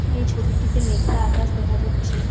এই ছবিটিতে মেখলা আকাশ দেখা যাচ্ছে।